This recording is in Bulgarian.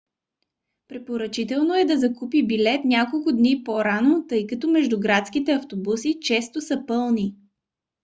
препоръчително е да се закупи билет няколко дни по-рано тъй като междуградските автобуси често са пълни